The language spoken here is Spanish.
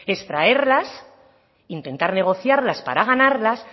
es traerlas intentar negociarlas para ganarlas